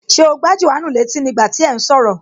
Ṣé o gbá Jòhánù létí ní gbà tí ẹ̀ ún sọ̀rọ̀?